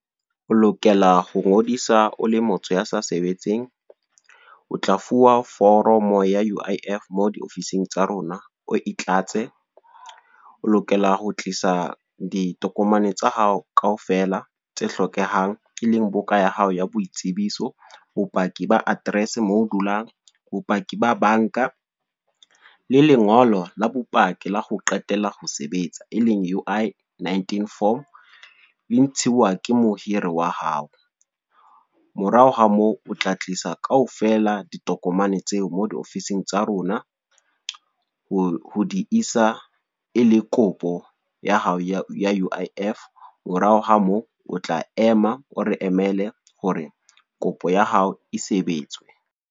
O lokela ho ngodisa o le motho ya sa sebetseng. O tla fuwa foromo ya U_I_F, mo diofising tsa rona, o e tlatse. O lokela ho tlisa ditokomane tsa hao kaofela, tse hlokehang, e leng buka ya hao ya boitsebiso. Bopaki ba address moo dulang, bopaki ba banka, le lengolo la bopaki la ho qetela ho sebetsa, e leng U_I-19 form. E ntshiwa ke mohiri wa hao. Morao ha moo o tla tlisa kaofela ditokomane tseo mo diofising tsa rona. Ho di tlisa e le kopo ya hao ya U_I_F. Morao ha moo, o tla ema o re emele hore kopo ya hao e sebetswe.